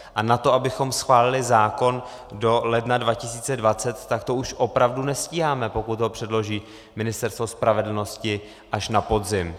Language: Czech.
A na to, abychom schválili zákon do ledna 2020, tak to už opravdu nestíháme, pokud ho předloží Ministerstvo spravedlnosti až na podzim.